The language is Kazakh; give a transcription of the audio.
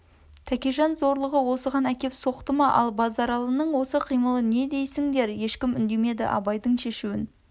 тәкежан зорлығы осыған әкеп соқты ма ал базаралының осы қимылын не дейсіндер ешкім үндемеді абайдың шешуін